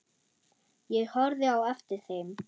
Ég horfði á eftir þeim.